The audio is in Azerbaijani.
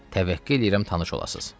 Təvəqqə eləyirəm tanış olasız.